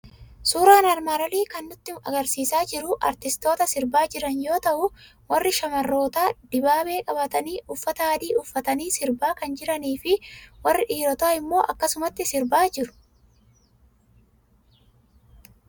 Suuraan armaan olii kan inni nutti argisiisaa jiru artistoota sirbaa jiran yoo ta'u, warri shamarrootaa dibaabee qabatanii uffata adii uffatanii sirbaa kan jiranii fi warri dhiirotaa immoo akkasumatti sirbaa jiru.